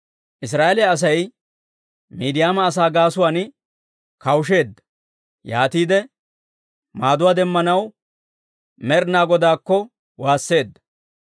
Israa'eeliyaa Asay Miidiyaama asaa gaasuwaan kawusheedda; yaatiide maaduwaa demmanaw Med'inaa Godaakko waasseedda.